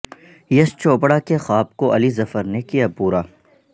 یش چوپڑا کے خواب کو علی ظفر نے کیا پورا